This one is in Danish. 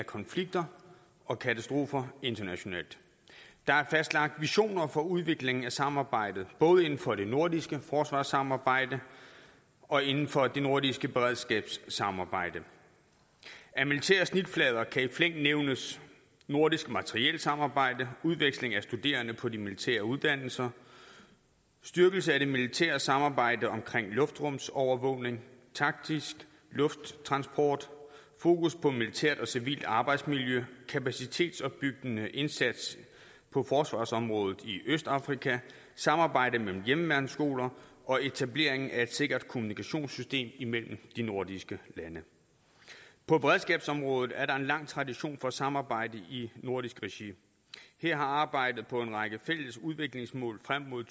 konflikter og katastrofer internationalt der er fastlagt visioner for udviklingen af samarbejdet både inden for det nordiske forsvarssamarbejde og inden for det nordiske beredskabssamarbejde af militære snitflader kan i flæng nævnes nordisk materielsamarbejde udveksling af studerende på de militære uddannelser styrkelse af det militære samarbejde omkring luftrumsovervågning taktisk lufttransport fokus på militært og civilt arbejdsmiljø kapacitetsopbyggende indsats på forsvarsområdet i østafrika samarbejde mellem hjemmeværnsskoler og etableringen af et sikkert kommunikationssystem imellem de nordiske lande på beredskabsområdet er der en lang tradition for samarbejde i nordisk regi her har arbejdet på en række fælles udviklingsmål frem mod